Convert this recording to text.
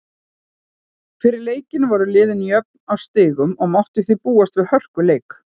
Fyrir leikinn voru liðin jöfn á stigum og mátti því búast við hörkuleik.